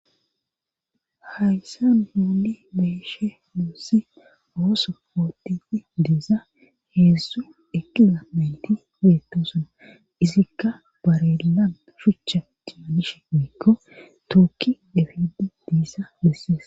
Hayssan nuuni be'ishe diza ooso oothishe diza heedzdzu eqqiza nayti dosona izikka barelle gillan shuuchcha keelishe woykko tokki efidi diyassa besees.